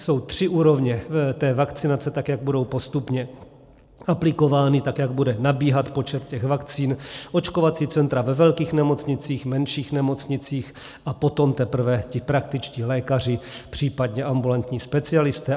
Jsou tři úrovně té vakcinace, tak jak budou postupně aplikovány, tak jak bude nabíhat počet těch vakcín, očkovací centra ve velkých nemocnicích, menších nemocnicích a potom teprve ti praktičtí lékaři, případně ambulantní specialisté.